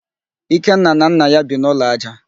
Ikenna na nna ya bi n'ụlọ ájá